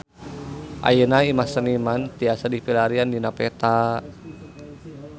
Ayeuna Imah Seniman tiasa dipilarian dina peta